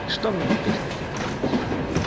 что мне теперь с этим делать